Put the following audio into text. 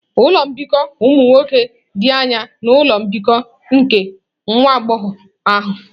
Ụlọ mbikọ ụmụ nwoke dị anya na ụlọ mbikọ nke nwa agbọghọ ahụ.